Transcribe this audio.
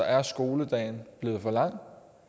er skoledagen blevet for lang